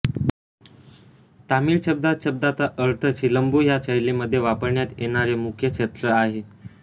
तामिळ शब्दात शब्दाचा अर्थ सिलंबु ह्या शैलीमध्ये वापरण्यात येणारे मुख्य शस्त्र आहे